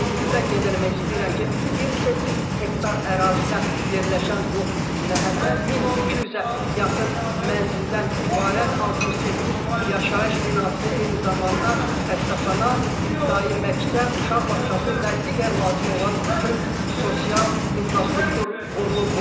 Ümumilikdə qeyd eləmək istəyirəm ki, 28 hektar ərazidə yerləşən bu məhəllə 1200-ə yaxın mənzildən ibarət 68 yaşayış binası, eyni zamanda xəstəxana, ibtidai məktəb, uşaq bağçası və digər lazım olan bütün sosial infrastruktur qurulub burada.